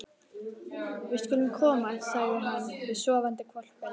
Við skulum komast, sagði hann við sofandi hvolpinn.